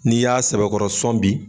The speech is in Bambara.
N'i y'a sɛbɛkɔrɔsɔn bi